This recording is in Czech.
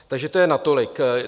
Takže to je natolik.